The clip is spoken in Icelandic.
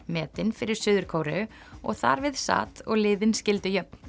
metin fyrir Suður Kóreu og þar við sat og liðin skildu jöfn